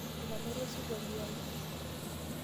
Etamorua esirkwali ai.